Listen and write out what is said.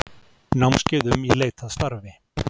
Námskeið um Í leit að starfi.